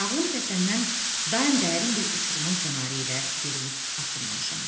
Ağlım kəsəndən daim dərin bir uçurumun kənarı ilə yeriyib addımlamışam.